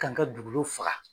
Ka an ka duugolo faga